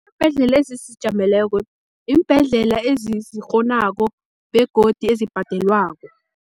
Iimbhedlela ezizijameleko, iimbhedlela ezizikghonako begodi ezibhadelwako.